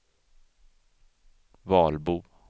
Valbo